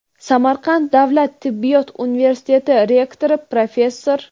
Samarqand davlat tibbiyot universiteti rektori, professor;.